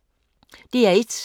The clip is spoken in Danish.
DR1